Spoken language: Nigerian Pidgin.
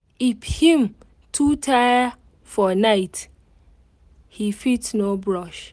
if him too tire for night he fit no brush